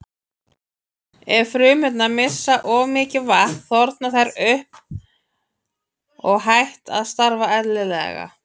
Ef frumurnar missa of mikið vatn þorna þær upp og hætt að starfa eðlilega.